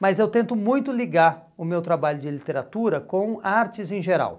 Mas eu tento muito ligar o meu trabalho de literatura com artes em geral.